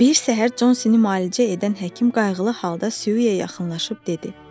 Bir səhər Consini müalicə edən həkim qayğılı halda Siyuya yaxınlaşıb dedi.